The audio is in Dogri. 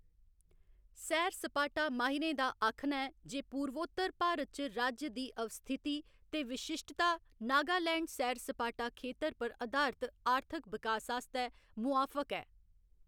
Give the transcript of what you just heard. सैर सपाटा माहिरें दा आखना ऐ जे पूर्वोत्तर भारत च राज्य दी अवस्थिति ते विशिश्टता नगालैंड सैर सपाटा खेतर पर अधारत आर्थिक बिकास आस्तै मुआफक ऐ।